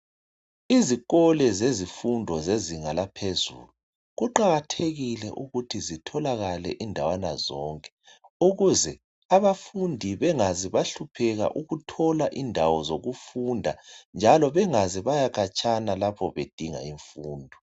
Izikolo zezifundo zezinga laphezulu kuqakathekile ukuthi zitholakale indawana zonke ukuze abafundi bengaze bahlupheka ukuthola indawo zokufunda njalo bengaze baya khatshana bedinga indawo zokufunda.